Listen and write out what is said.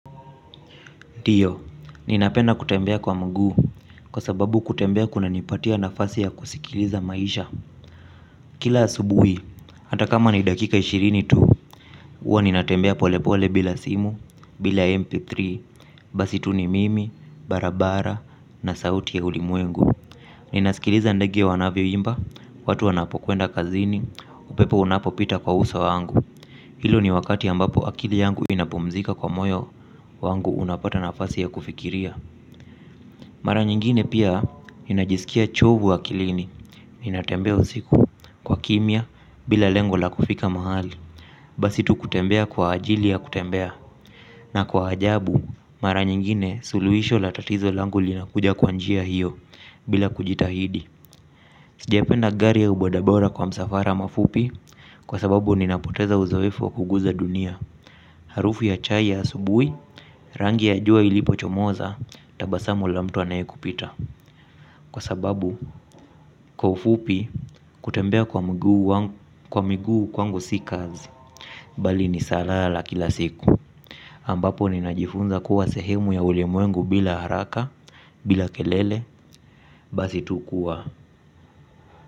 Ndio, ninapenda kutembea kwa mguu kwa sababu kutembea kuna nipatia nafasi ya kusikiliza maisha. Kila asubui hata kama ni dakika ishirini tu huwa ninatembea polepole bila simu bila mp3 basi tu ni mimi na barabara na sauti ya ulimwengu ninasikiliza ndege wanavyoimba watu wanapokwenda kazini upepo unapopika kwa uso wangu. Hilo ni wakati ambapo akili yangu inapumzika kwa moyo wangu unapata nafasi ya kufikiria. Mara nyingine pia ninajisikia chovu akilini. Ninatembea usiku wa kimia bila lengo la kufika mahali. Basi tu kutembea kwa ajili ya kutembea. Na kwa ajabu, mara nyingine suluisho la tatizo langu linakuja kwa njia hiyo bila kujitahidi. Sijapenda gari au bodabora kwa msafara mafupi kwa sababu ninapoteza uzoefu wa kuguza dunia. Harufu ya chai ya asubui rangi ya jua ilipo chomoza tabasamu la mtu anayekupita. Kwa sababu kwa ufupi kutembea kwa miguu kwangu si kazi bali ni salaa la kila siku ambapo ni najifunza kuwa sehemu ya ulemuengu bila haraka. Bila kelele. Basi tu kuwa.